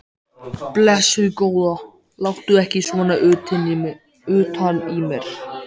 Blessuð góða, láttu ekki svona utan í mér.